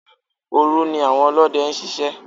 Òru ni àwọn Olóde ń ṣiṣẹ́.